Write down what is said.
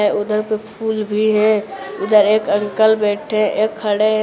उधर पे फूल भी है उधर एक अंकल बैठे एक खड़े--